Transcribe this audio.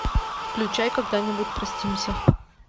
включай когда нибудь простимся